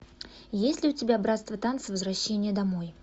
есть ли у тебя братство танца возвращение домой